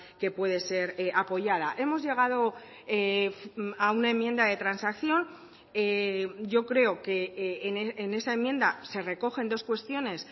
que puede ser apoyada hemos llegado a una enmienda de transacción yo creo que en esa enmienda se recogen dos cuestiones